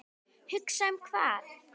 Hugsa um hvað?